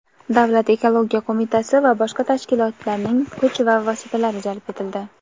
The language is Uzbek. Davlat ekologiya qo‘mitasi va boshqa tashkilotlarning kuch va vositalari jalb etildi.